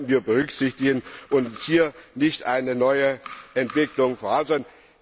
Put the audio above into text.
Das sollten wir berücksichtigen und hier nicht eine neue Entwicklung fordern.